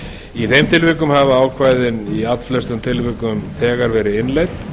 í þeim tilvikum hafa ákvæðin í allflestum tilvikum þegar verið innleidd